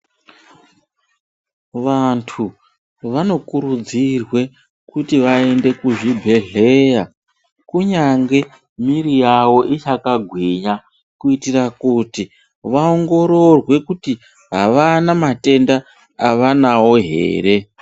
Vantu vanokurudzirwa kuti vaende kuzvibhedhlera kunyangwe mwiri yawo ichiri yakagwinya kuitira kuti vaongororwe kuti havana matenda avanawo here.